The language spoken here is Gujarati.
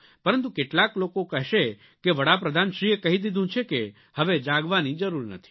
પરંતુ કેટલાક લોકો કહેશે કે વડાપ્રધાનશ્રીએ કહી દીધું છે કે હવે જાગવાની જરૂર નથી